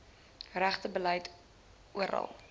regte beleid oral